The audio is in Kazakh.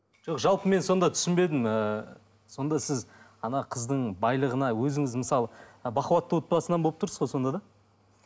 жоқ жалпы мен сонда түсінбедім ы сонда сіз ана қыздың байлығына өзіңіз мысалы бақуатты отбасынан болып тұрсыз ғой сонда да